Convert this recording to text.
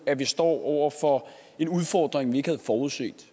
at vi står over for en udfordring vi ikke havde forudset